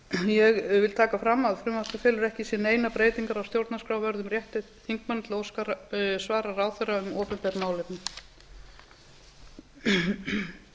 ég vil taka fram að frumvarpið felur ekki í sér neinar breytingar á stjórnarskrárvörðum rétti þingmanna til að óska svara ráðherra um opinber málefni